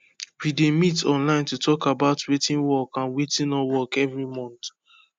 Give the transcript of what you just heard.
we dey meet online to talk about wetin work and wetin no work every month